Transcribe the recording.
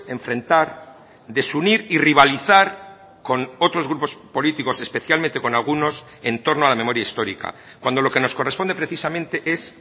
enfrentar desunir y rivalizar con otros grupos políticos especialmente con algunos en torno a la memoria histórica cuando lo que nos corresponde precisamente es